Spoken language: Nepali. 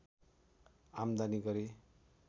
आम्दानी गरे